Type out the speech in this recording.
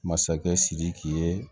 Masakɛ sidiki ye